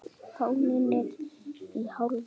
Fáninn er í hálfa stöng.